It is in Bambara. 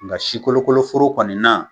Nka si kolokoloforo kɔni na